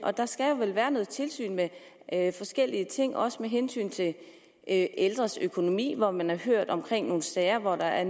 der skal vel være noget tilsyn med forskellige ting også med hensyn til ældres økonomi hvor man har hørt om sager hvor der er